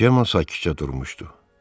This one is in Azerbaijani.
Cemma sakitcə durmuşdu.